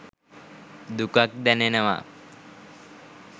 දුකක් දැනෙනවා